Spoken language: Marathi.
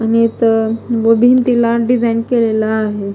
आणि इथं तिला डिझाईन केलेला आहे.